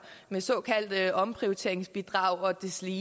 med såkaldte omprioriteringsbidrag og deslige